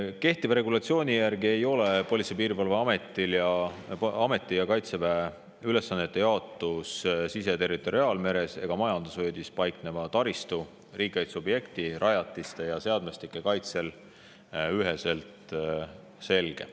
Kehtiva regulatsiooni järgi ei ole Politsei- ja Piirivalveameti ning Kaitseväe ülesannete jaotus sise- ja territoriaalmeres või ka majandusvööndis paikneva taristu, riigikaitseobjekti, rajatiste ja seadmestike kaitsel üheselt selge.